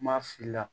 Kuma fili la